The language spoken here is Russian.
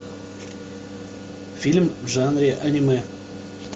фильм в жанре аниме